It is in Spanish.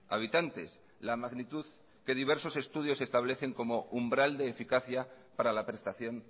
habitantes la magnitud que diversos estudios establecen como umbral de eficacia para la prestación